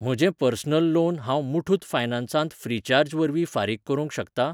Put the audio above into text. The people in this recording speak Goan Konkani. म्हजें पर्सनल लोन हांव मुठुत फायनान्सांत फ्रीचार्ज वरवीं फारीक करूंक शकतां?